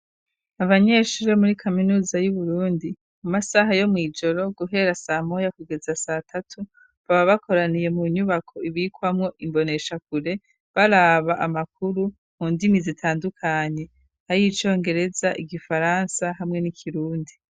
Abanyeshuri muri kaminuza yu Burundi mu masaha yo mu ijoro guhera sa moya kugeza satatu baba bakoraniye mu nyubako ibikwamo imboneshakure baraba amakuru mu ndimi zitandukanye ayicongereza igifaransa hamwe n'ikirundi.